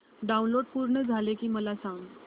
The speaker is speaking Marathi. डाऊनलोड पूर्ण झालं की मला सांग